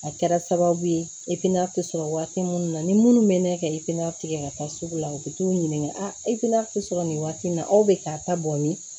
A kɛra sababu ye e na tɛ sɔrɔ waati minnu na ni minnu bɛ ne kɛ ifina tigɛ ka taa sugu la u bɛ t'u ɲininka a e tɛ sɔrɔ nin waati in na aw bɛ ka taa bɔn ni